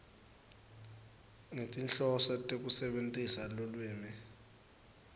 ngetinhloso tekusebentisa lulwimi